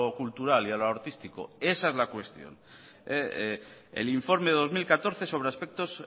cultural y a lo artístico esa es la cuestión el informe dos mil catorce sobre aspectos